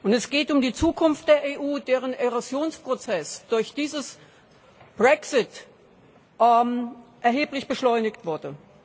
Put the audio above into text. Es geht um die Zukunft der EU, deren Erosionsprozess durch diesen Brexit erheblich beschleunigt wurde.